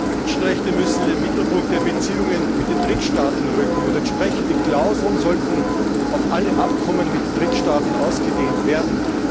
Herr Präsident! Die Menschenrechte müssen in den Mittelpunkt der Beziehungen mit den Drittstaaten rücken, und entsprechende Klauseln sollten auf alle Abkommen mit Drittstaaten ausgedehnt werden.